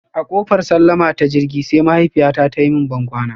A kofar sallama ta jirgi, sai mahaifiyyata ta yi mun bankwana.